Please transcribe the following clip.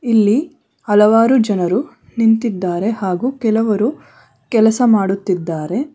ಇಲ್ಲಿ ಹಲವಾರು ಜನರು ನಿಂತಿದ್ದಾರೆ ಹಾಗು ಕೆಲವರು ಕೆಲಸ ಮಾಡುತ್ತಿದ್ದಾರೆ.